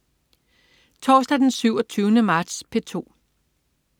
Torsdag den 27. marts - P2: